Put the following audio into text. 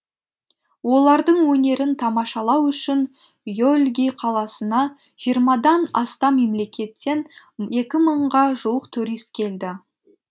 олардың өнерін тамашалау үшін йөлгий қаласына жиырмадан астам мемлекеттен екі мыңға жуық турист келді